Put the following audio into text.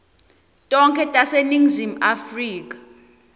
tonkhe taseningizimu afrika